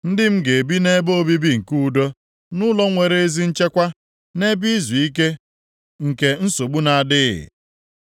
Ndị m ga-ebi nʼebe obibi nke udo, nʼụlọ nwere ezi nchekwa, nʼebe izuike nke nsogbu na-adịghị.